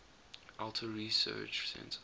alto research center